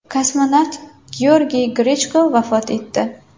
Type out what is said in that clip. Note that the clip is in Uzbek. Kosmonavt Georgiy Grechko vafot etdi.